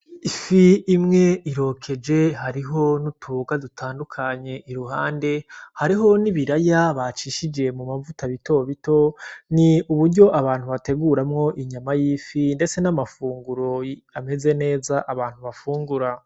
Ifi imwe irokeje, hariho n'utuboga dutandukanye iruhande, haribo n'ibiraya bacishije mu mavuta bitobito, ni uburyo abantu bateguramwo inyama y'ifi ndetse n'amafunguro ameze neza, abantu bafungura.